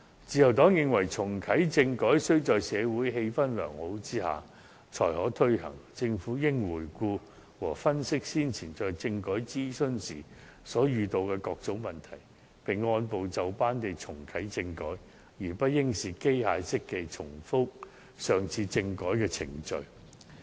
自由黨亦認為重啟政改須在社會氣氛良好下才可推行，政府應回顧和分析先前在政改諮詢時遇到的各種問題，並按部就班地重啟政改，而不應機械式地重複上次的政改程序。